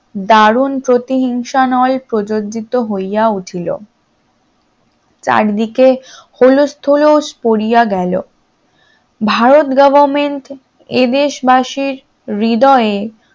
দারুন প্রতি হিংসা নল প্রযোজিত হইয়া উঠল, চারিদিকে হুলুস তুলস পড়িয়া গেল ভারত government এ দেশবাসীর হৃদয়ে